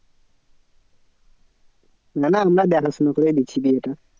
না না আমরা দেখাশোনা করেই দিচ্ছি বিয়েটা।